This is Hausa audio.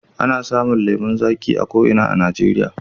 Ana samun lemon zaƙi a ko ina a Najeriya.